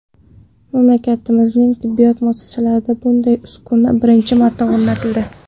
Mamlakatimizning tibbiyot muassasalarida bunday uskuna birinchi marta o‘rnatildi.